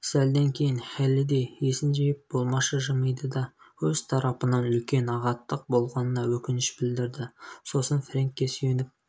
сәлден кейін хеллидэй есін жиып болмашы жымиды да өз тарапынан үлкен ағаттық болғанына өкініш білдірді сосын фрэнкке сүйеніп